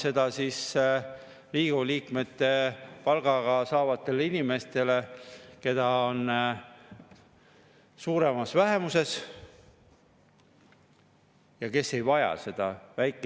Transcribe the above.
Kui ta alla kahe minuti tutvustas oma eelnõu, siis ta alustas jälle sellesama teemaga, et Eesti Vabariigis on väga erinev tulumaksuprotsent, peale seda, kui ma andsin talle üle Eesti Vabariigis kehtiva tulumaksuseaduse punktid, kus on selgelt kirjutatud, et nii füüsilisele kui ka juriidilisele isikule kehtiv tulumaksumäär on 20% ja seda arvestatakse sissetulekult.